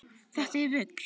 Þetta er rugl.